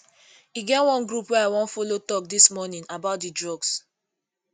e get one group wey i wan follow talk dis morning about the drugs